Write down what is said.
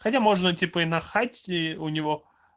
хотя можно типа и на хате у него